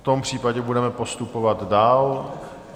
V tom případě budeme postupovat dál.